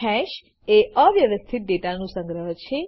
હેશએ અવ્યવસ્થિત ડેટાનું સંગ્રહ છે